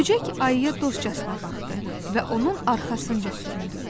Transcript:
Böcək ayıya dostcasına baxdı və onun arxasınca süründü.